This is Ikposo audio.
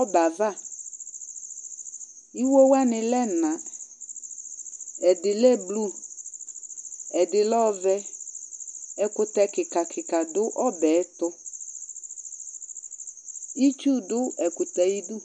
ɔbɛ ava, iwo wʋani lɛ ɛna, ɛdi lɛ blu, ɛdi lɛ ɔvɛ , ɛkutɛ kika kika du ɔbɛ tu , itsu du ɛkutɛ ayidu